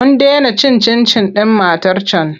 Mun dena cin cin-cin ɗin matar can.